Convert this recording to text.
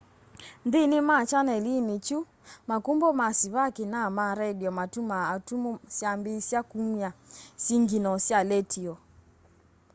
nthini wa chanelini kiu makumbo ma sivaki na ma redio matumaa atumu syambiisya kumya singinoo sya letio